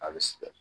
A bɛ sɛgɛn